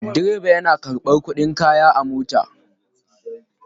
Direba yana karɓar kuɗin kaya a mota.